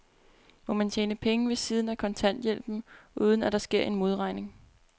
Må man tjene penge ved siden af kontanthjælpen, uden at der sker en modregning?